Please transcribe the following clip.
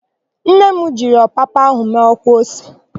Nne m jiri ọpapa ahụ mee ọkwa ose.